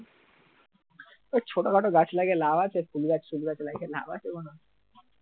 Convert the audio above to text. ওই ছোটখাটো গাছ লাগিয়ে লাভ আছে ফুল গাছ টুল গাছ লাগিয়ে লাভ আছে কোন